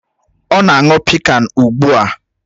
Ọ na-aṅụ pịkan ugbu a.